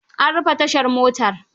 An rufe tashar motar.